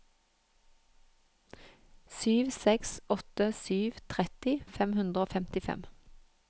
sju seks åtte sju tretti fem hundre og femtifem